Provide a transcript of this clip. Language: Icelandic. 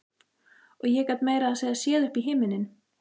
Og ég gat meira að segja séð upp í himininn.